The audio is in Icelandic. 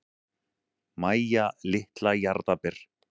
Mæja litla jarðarber.